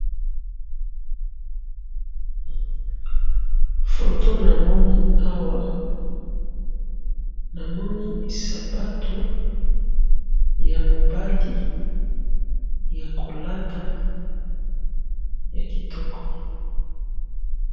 Photo namoni awa ,namoni sapatu ya mobali ya kolata ya kitoko